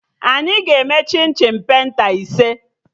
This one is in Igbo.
Anyị ga-eme chim chim penta ise